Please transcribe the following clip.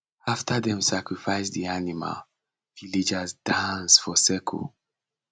after dem sacrifice the animal villagers dance for circle